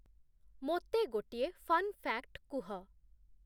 ମୋତେ ଗୋଟିଏ fun fact କୁହ